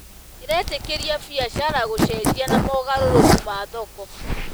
ĩretĩkĩria biacara gũcenjia na mogarũrũku ma thoko.